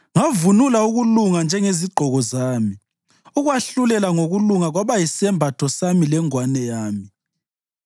Ngavunula ukulunga njengezigqoko zami; ukwahlulela ngokulunga kwaba yisembatho sami lengwane yami.